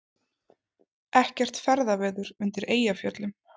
Ekkert ferðaveður undir Eyjafjöllum